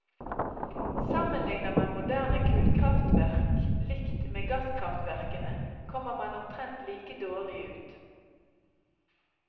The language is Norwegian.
Sammenligner man moderne kullkraftverk likt med gasskraftverkene kommer man omtrent like dårlig ut.